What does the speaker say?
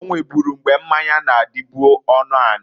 O nweburu mgbe mmanya na-adịbụ ọnụanị.